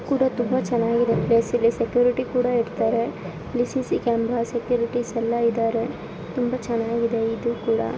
ಕೂಡ ತುಂಬಾ ಚೆನ್ನಾಗಿದೆ ಪ್ಲೇಸ್ ಇಲ್ಲಿ ಸೆಕ್ಯೂರಿಟಿ ಕೂಡ ಇರ್ತಾರೆ ಸಿಸಿ ಕ್ಯಾಮೆರಾ ಸೆಕ್ಯೂರಿಟಿಸ್ ಎಲ್ಲ ಇದಾರೆ ತುಂಬಾ ಚೆನ್ನಾಗಿದೆ ಇದು ಕೂಡ.